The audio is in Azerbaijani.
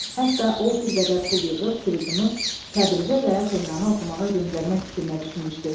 Hətta o bir qədər pul yığıb Fridunu Təbrizə və Tehrana oxumağa göndərmək fikrinə düşmüşdü.